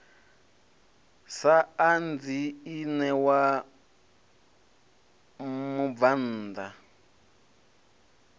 sa anzi i ṋewa mubvann